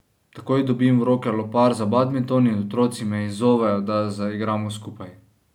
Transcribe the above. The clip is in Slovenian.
Takoj dobim v roke lopar za badminton in otroci me izzovejo, da zaigramo skupaj.